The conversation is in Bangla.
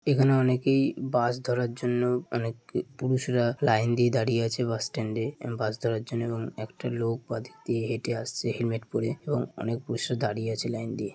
এখানে অনেকেই- বাস ধরার জন্য অনেক পুরুষরা লাইন দিয়ে দাঁড়িয়ে আছে বাস স্ট্যান্ডে এবংবাস ধরার জন্য এবং একটা লোক বাদিক দিয়ে হেঁটে আসছে হেলমেট পরে এবং অনেক পুরুষরা দাঁড়িয়ে আছে লাইন দিয়ে ।